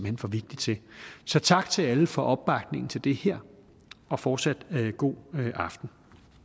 hen for vigtig til så tak til alle for opbakningen til det her og fortsat god aften